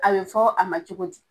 A be fɔ a ma cogo di?